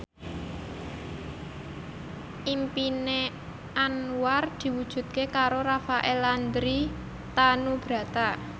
impine Anwar diwujudke karo Rafael Landry Tanubrata